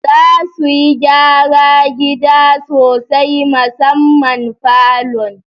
Za suyi gyara gida sosai musamman falon